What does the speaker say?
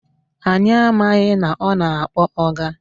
Anyị amaghị na ọ na-akpọ ọga